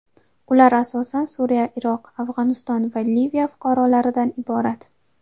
Ular asosan Suriya, Iroq, Afg‘oniston va Liviya fuqarolaridan iborat.